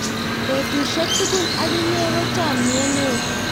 petusiek tugul ak inye ko chamiet neo